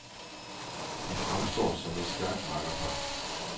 De fremstår som et stærkt makkerpar.